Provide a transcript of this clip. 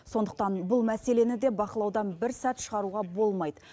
сондықтан бұл мәселені де бақылаудан бір сәт шығаруға болмайды